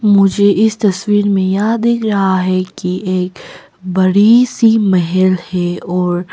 मुझे इस तस्वीर में यह दिख रहा है कि एक बड़ी सी महल है और--